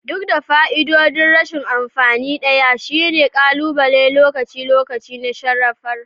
Duk da fa'idodin, rashin amfani ɗaya shine ƙalubale na lokaci-lokaci na sarrafa sharar gida